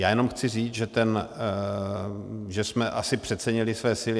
Já jenom chci říct, že jsme asi přecenili své síly.